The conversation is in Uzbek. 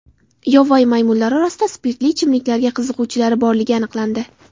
Yovvoyi maymunlar orasida spirtli ichimliklarga qiziquvchilari borligi aniqlandi.